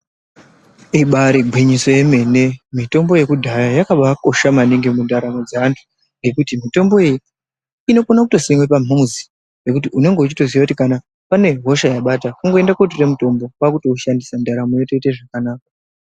Ibari gwinyiso yemene, mitombo yekudhaya yakabaakosha maningi mundaramo dzeanhu nekuti mitomboyo inokone kutosiwe pamuzi pekuti unenge weitoziva kuti kana pane hosha yabata kungoende kunotora mutombo kwakuto ushandisa ndaramo yotoita zvakanaka.